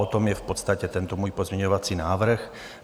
O tom je v podstatě tento můj pozměňovací návrh.